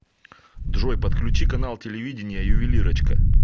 джой подключи канал телевидения ювелирочка